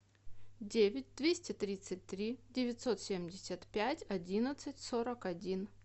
девять двести тридцать три девятьсот семьдесят пять одиннадцать сорок один